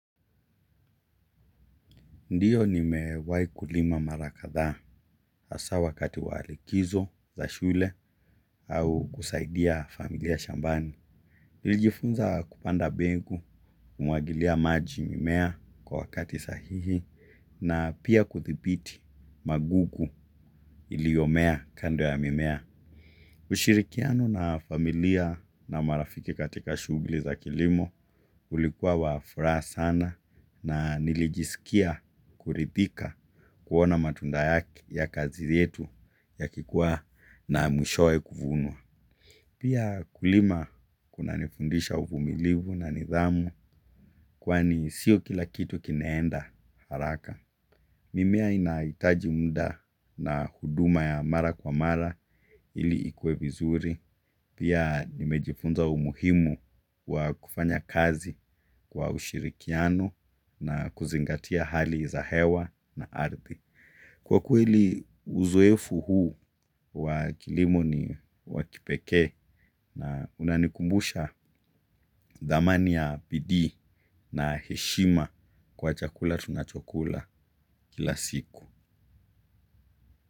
Ndiyo nimewai kulima mara kadhaa hasa wakati wa likizo za shule au kusaidia familia shambani. Nilijifunza kupanda mbegu, kumwagilia maji mimea kwa wakati sahihi na pia kudhibiti magugu iliyomea kando ya mimea. Ushirikiano na familia na marafiki katika shughuli za kilimo ulikuwa wa furaha sana na nilijisikia kuridhika kuona matunda ya kazi yetu yakikua na mwishowe kufunwa. Pia kulima kuna nifundisha uvumilivu na nidhamu kwani sio kila kitu kinaenda haraka. Mimea inahitaji muda na huduma ya mara kwa mara ili ikue vizuri. Pia nimejifunza umuhimu wa kufanya kazi kwa ushirikiano na kuzingatia hali za hewa na ardhi. Kwa kweli uzoefu huu wa kilimo ni wa kipekee na unanikumbusha thamani ya bidii na heshima kwa chakula tunachokula kila siku.